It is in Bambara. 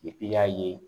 i y'a ye